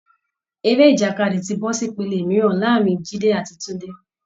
Eré ìjàkadì ti bọ́ sí ìpele mìíràn láàárín jide àti Tunde